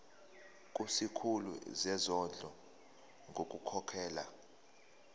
kusikhulu sezondlo ngokukhokhela